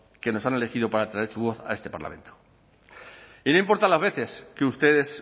que nos han elegido para traer su voz a este parlamento y no importa las veces que ustedes